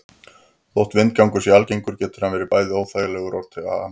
Þótt vindgangur sé algengur getur hann verið bæði óþægilegur og til ama.